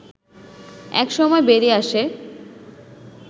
এক সময় বেরিয়ে আসে